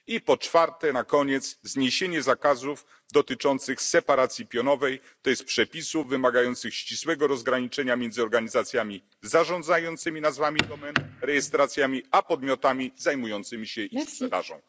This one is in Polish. I po czwarte, na koniec, zniesienie zakazów dotyczących separacji pionowej, to jest przepisów wymagających ścisłego rozgraniczenia między organizacjami zarządzającymi nazwami domen, rejestracjami a podmiotami zajmującymi się ich sprzedażą.